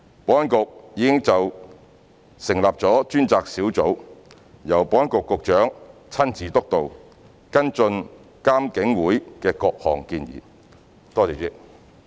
保安局已成立專責小組，由保安局局長親自督導，跟進監警會的各項建議。